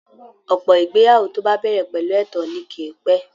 Ọ̀pọ̀ ìgbéyàwó tó bá bẹ̀rẹ̀ pẹ̀lú ẹ̀tàn ni kì í pẹ́